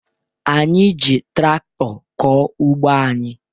Anyị ji traktọ kọọ ugbo anyị